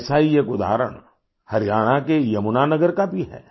ऐसा ही एक उदाहरण हरियाणा के यमुना नगर का भी है